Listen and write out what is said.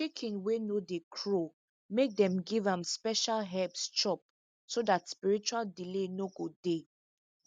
chicken wey no dey crow make them give am special herbs chop so dat spiritual delay no go dey